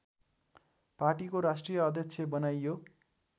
पार्टीको राष्ट्रिय अध्यक्ष बनाइयो